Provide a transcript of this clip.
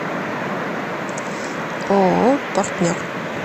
ооо партнер